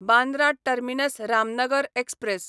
Bandra terminus Ramnagar express